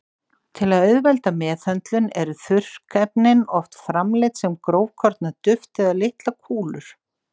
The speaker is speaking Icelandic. Til að auðvelda meðhöndlun eru þurrkefnin oft framleidd sem grófkorna duft eða litlar kúlur.